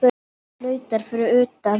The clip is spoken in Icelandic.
Bíll flautar fyrir utan.